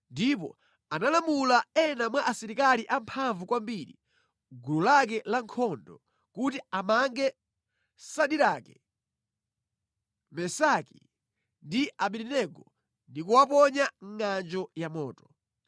ndipo analamula ena mwa asilikali amphamvu kwambiri mʼgulu lake lankhondo kuti amange Sadirake, Mesaki ndi Abedenego ndi kuwaponya mʼngʼanjo ya moto.